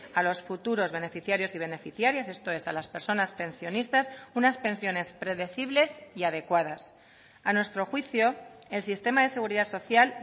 a los futuros beneficiarios y beneficiarias esto es a las personas pensionistas unas pensiones predecibles y adecuadas a nuestro juicio el sistema de seguridad social